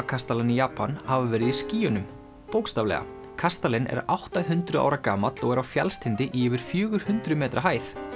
kastalann í Japan hafa verið í skýjunum bókstaflega kastalinn er átta hundruð ára gamall og er á fjallstindi í yfir fjögur hundruð metra hæð